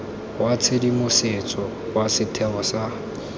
wa tshedimosetso wa setheo sa